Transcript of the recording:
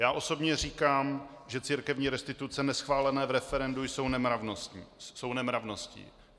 Já osobně říkám, že církevní restituce neschválené v referendu jsou nemravností.